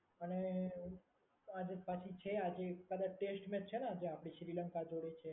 અને આજે પાછી છે આજે કદાચ ટેસ્ટ મેચ છે ને આજે આપડી શ્રીલંકા જોડે છે.